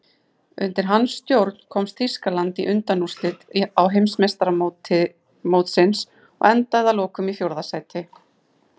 Undir hans stjórn komst Þýskaland í undanúrslit Heimsmeistaramótsins og endaði að lokum í fjórða sæti.